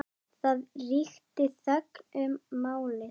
Það ríkti þögn um málið.